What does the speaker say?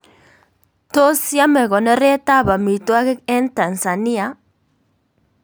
Tos yame konoret ab amitwogik eng Tansania